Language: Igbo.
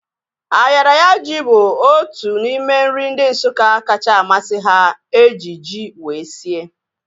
Ayaraya ji bụ otu n'ime nri ndị Nsukka kacha amasị ha eji ji wee sie